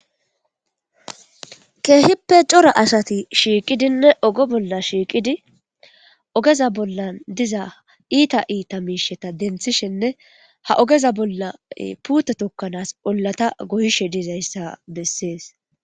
Keehippe cora asati shiiqidinne ogo bolla shiiqidi ogeza bollan diza iita iita miisheta denthishenne ha ogeza bolla puute tokkanaas ollata goyishe dizayssa bessees